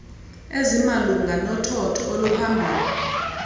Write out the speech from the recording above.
ezimalunga nothotho oluphambili